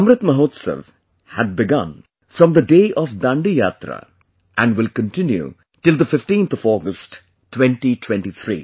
'Amrit Mahotsav' had begun from the day of Dandi Yatra and will continue till the 15th of August, 2023